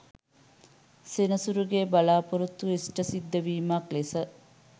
සෙනසුරුගේ බලාපොරොත්තු ඉෂ්ඨ සිද්ධ වීමක් ලෙස